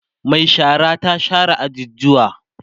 Mai shara ta share ajujuwan